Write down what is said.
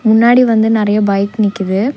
முன்னாடி வந்து நெறையா பைக் நிக்கிது.